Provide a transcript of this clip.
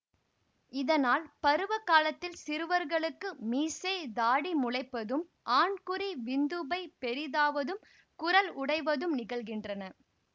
இதனால் பருவ காலத்தில் சிறுவர்களுக்கு மீசைதாடி முளைப்பதும் ஆண்குறி விந்துப்பை பெரிதாவதும் குரல் உடைவதும் நிகழ்கின்றன